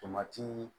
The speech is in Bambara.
Tomati